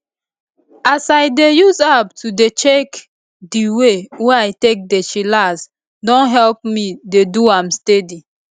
as i dey use app to dey check di way wey i take dey chillax don help me dey do am steady